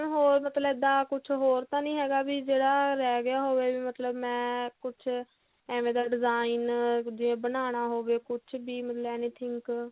ਹੋਰ ਮਤਲਬ ਕੀ ਇੱਦਾਂ ਕੁੱਝ ਹੋਰ ਤਾਂ ਨਹੀ ਹੈਗਾ ਵੀ ਜਿਹੜਾ ਰਿਹ ਗਿਆ ਹੋਵੇ ਮਤਲਬ ਮੈਂ ਕੁੱਝ ਐਵੇਂ ਦਾ design ਜਿਵੇਂ ਬਣਾਉਣਾ ਹੋਵੇ ਕੁੱਝ ਵੀ ਮਤਲਬ any think